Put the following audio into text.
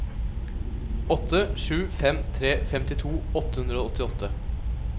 åtte sju fem tre femtito åtte hundre og åttiåtte